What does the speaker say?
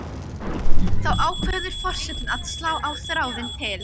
Þá ákveður forsetinn að slá á þráðinn til